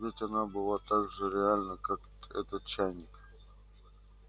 ведь она была так же реальна как этот чайник